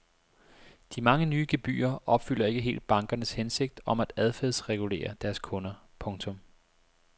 De mange nye gebyrer opfylder ikke helt bankernes hensigt om at adfærdsregulere deres kunder. punktum